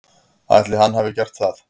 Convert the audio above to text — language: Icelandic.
Ætli hann hafi gert það?